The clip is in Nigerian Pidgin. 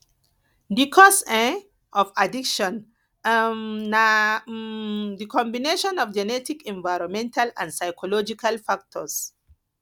di cause um of addiction um na um di combination of genetic environmental and psychological factors